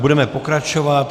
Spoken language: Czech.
Budeme pokračovat.